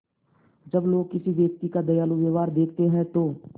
जब लोग किसी व्यक्ति का दयालु व्यवहार देखते हैं तो